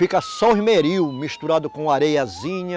Fica só esmeril misturado com areiazinha.